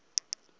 efele